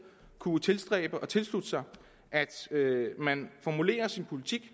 kunne tilstræbe og tilslutte sig at man formulerede sin politik